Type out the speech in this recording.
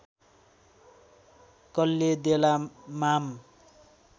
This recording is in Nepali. कल्ले देला माम